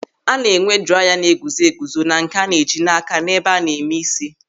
A na-enwe draiya na-eguzo eguzo na nke a na-eji n'áká n'ebe a na-eme ísí.